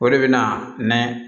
O de bɛ na nɛnɛ